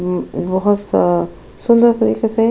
बहुत सा सुन्दर तरीके से --